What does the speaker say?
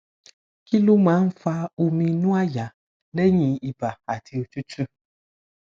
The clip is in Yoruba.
kí ló máa ń fa omi inu àyà lẹyìn iba ati otutu